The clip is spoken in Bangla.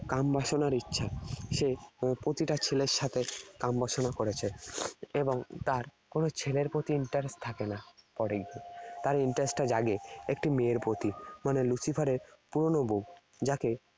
কামবাসনার ইচ্ছা। সে প্রতিটা ছেলের সাথে কামবাসনা করেছে। এবং তার কোন ছেলের প্রতি interest থাকে না পরে গিয়ে। তার interest টা জাগে একটি মেয়ের প্রতি। মানে Lucifer এর পুরনো বউ, যাকে